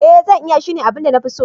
Ee zan iya, shine abin da na fi so.